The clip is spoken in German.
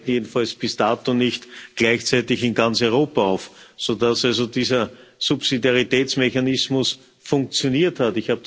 jedenfalls bis dato nicht gleichzeitig in ganz Europa auf, sodass also dieser Subsidiaritätsmechanismus funktioniert hat.